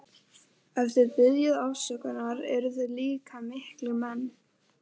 Ef þið biðjið afsökunar eruð þið líka miklir menn.